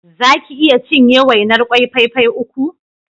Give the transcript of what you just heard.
Za ki iya cinye wainar ƙwai fai fai uku?